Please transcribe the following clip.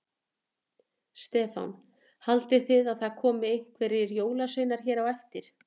Stefán: Haldið þið að það komi einhverjir jólasveinar hér á eftir?